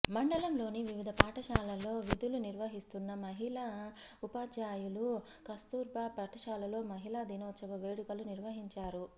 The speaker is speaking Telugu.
మండలంలోని వివిధ పాఠశాలలో విధులు నిర్వహిస్తున్న మహిళా ఉపాధ్యాయులు కస్తూర్బా పాఠశాలలో మహిళా దినోత్సవ వేడుకలు నిర్వహించారు